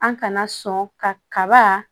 An kana sɔn ka kaba